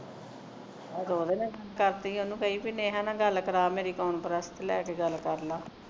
ਆਹੋ ਤੇ ਉਹਦੇ ਨਾਲ ਹੀ ਗਲ ਕਰ ਲਵੀਂ ਉਹਨੂੰ ਕਵੀ ਨੇਹਾ ਦੇ ਨਾਲ ਗੱਲ ਕਰਵਾ ਮੇਰੀ conference ਤੇ ਲੈ ਕੇਗੱਲ ਕਰ ਲਾ